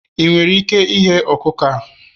ị nwere ike ighe ọkụkọ a?